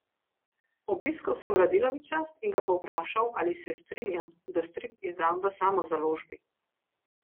Obiskal sem Radilovića in ga povprašal, ali se strinja, da strip izdam v samozaložbi.